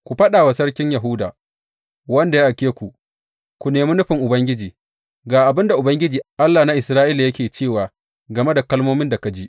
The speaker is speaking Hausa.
Ku faɗa wa sarkin Yahuda, wanda ya aike ku ku nemi nufin Ubangiji, Ga abin da Ubangiji, Allah na Isra’ila yake cewa game da kalmomin da ka ji.